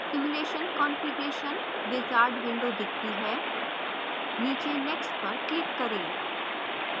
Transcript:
simulation configuration wizard window दिखती है नीचे next पर click करें